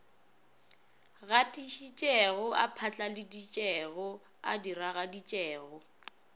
gatišitšego a phatlaladitšego a diragaditšego